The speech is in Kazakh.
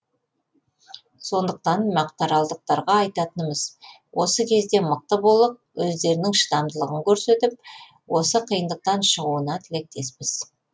сондықтан мақтааралдықтарға айтатынымыз осы кезде мықты болып өздерінің шыдамдылығын көрсетіп осы қиындықтан шығуына тілектеспіз